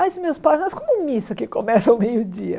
Mas os meus pais, mas como missa que começa ao meio-dia?